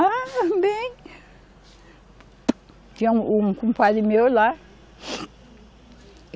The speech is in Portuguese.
Ah, bem. Tinha um, um compadre meu lá .